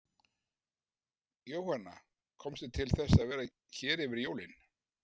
Jóhanna: Komstu til þess að vera hér yfir jólin?